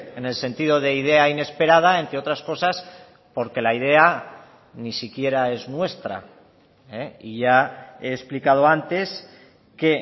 en el sentido de idea inesperada entre otras cosas porque la idea ni siquiera es nuestra y ya he explicado antes que